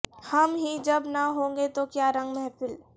ہم ہی جب نہ ہوں گے تو کیا رنگ محفل